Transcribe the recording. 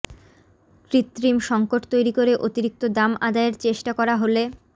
কৃত্রিম সংকট তৈরি করে অতিরিক্ত দাম আদায়ের চেষ্টা করা হলে